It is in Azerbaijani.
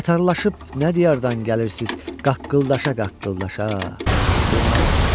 Qatarlılaşıb nə diyadan gəlirsiz qaqqıldaşa-qaqqıldaşa durnalar.